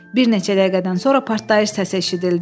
Bir neçə dəqiqədən sonra partlayış səsi eşidildi.